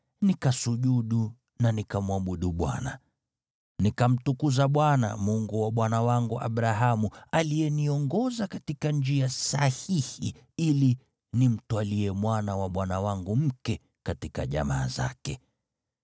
nikasujudu na nikamwabudu Bwana . Nikamtukuza Bwana , Mungu wa bwana wangu Abrahamu, aliyeniongoza katika njia sahihi ili nimtwalie mwana na bwana wangu mke katika jamaa zake.